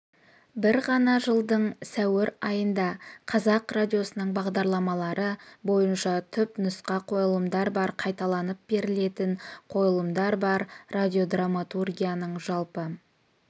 бір ғана жылдың сәуір айында қазақ радиосының бағдарламалары бойынша түпнұсқа қойылымдар бар қайталанып берілетін қойылымдар бар радиодраматургияның жалпы